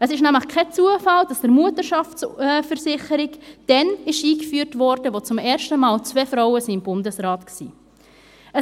Es ist nämlich kein Zufall, dass die Mutterschaftsversicherung dann eingeführt wurde, als zum ersten Mal zwei Frauen im Bundesrat waren.